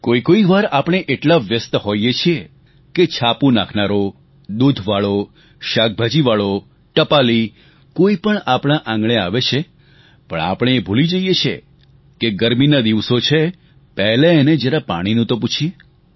કોઈ કોઈ વાર આપણે એટલાં વ્યસ્ત હોઈએ છીએ કે છાપું નાખનારો દૂધવાળો શાકભાજીવાળો ટપાલી કોઈપણ આપણા આંગણે આવે છે પણ આપણે એ ભૂલી જઈએ છીએ કે ગરમીના દિવસો છે પહેલાં એને જરા પાણીનું તો પૂછીએ